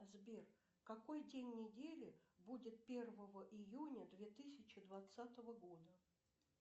сбер какой день недели будет первого июня две тысячи двадцатого года